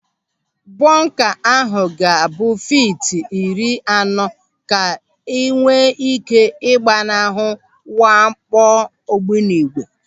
Bọnka ahụ ga-abụ fiiti iri anọ ka enwee ị́ké ị gbanahụ mwakpo ogbunigwe.